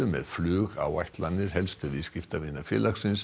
með flugáætlanir helstu viðskiptavina félagsins